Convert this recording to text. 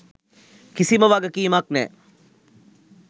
කිසිම වගකීමක් නෑ.